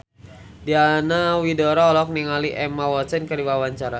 Diana Widoera olohok ningali Emma Watson keur diwawancara